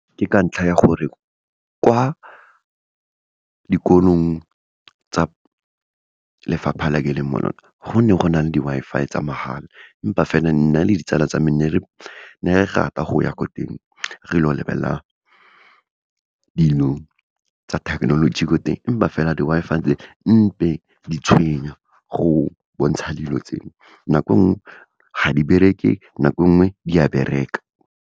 Ke ka ntlha ya gore, kwa dikolong tsa lefapha le ke leng mo lona, go ne go na le di-Wi-Fi tsa mahala, empa fela, nna le ditsala tsa me ne re rata go ya ko teng re ilo lebelela dilo tsa thekenoloji ko teng, empa fela, di-Wi-Fi tse di tshwenya, go bontsha dilo tse, nako nngwe ga di bereke, nako nngwe di a bereka.